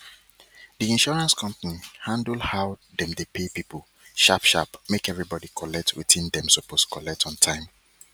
di insurance company handle how dem dey pay people sharp sharp make everybody collect wetin dem suppose collect on time